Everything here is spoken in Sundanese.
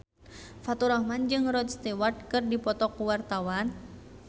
Faturrahman jeung Rod Stewart keur dipoto ku wartawan